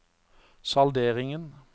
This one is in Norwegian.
salderingen